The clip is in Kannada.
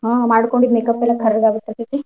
ಹಾ ಮಾಡ್ಕೊಂಡಿದ್ದ makeup ಎಲ್ಲ ಕರ್ರಗ್ ಆಗಿ ಬಿಡ್ತೇತಿ.